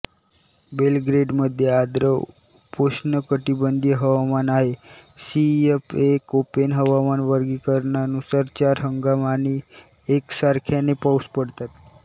बेलग्रेडमध्ये आर्द्र उपोष्णकटिबंधीय हवामान आहे सीएफए कोपेन हवामान वर्गीकरणानुसार चार हंगाम आणि एकसारख्याने पाऊस पडतात